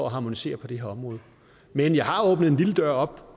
at harmonisere på det her område men jeg har åbnet en lille dør op